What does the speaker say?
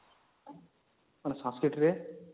ହଁ Sanskrit ରେ